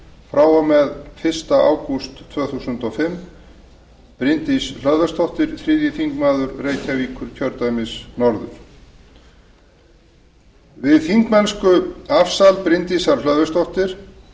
frá og með fyrsta ágúst tvö þúsund og fimm bryndís hlöðversdóttir þriðji þingmaður reykjavíkurkjördæmis norður við þingmennskuafsal bryndísar hlöðversdóttur